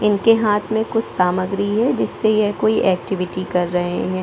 इनके हाथ मे कुछ सामग्रीः है जिससे यह कोई एक्टिविटी कर रहे है।